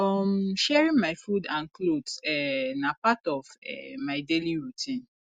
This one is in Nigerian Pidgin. um sharing my food and clothes um na part of um my daily routine